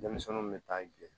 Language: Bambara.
Denmisɛnninw bɛ taa bilen